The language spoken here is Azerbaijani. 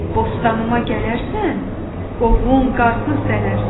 Bostanıma gələrsən, qovun, qarpız dərərsən.